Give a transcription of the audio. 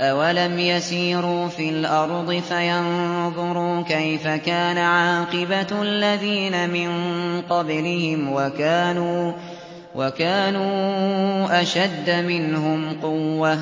أَوَلَمْ يَسِيرُوا فِي الْأَرْضِ فَيَنظُرُوا كَيْفَ كَانَ عَاقِبَةُ الَّذِينَ مِن قَبْلِهِمْ وَكَانُوا أَشَدَّ مِنْهُمْ قُوَّةً ۚ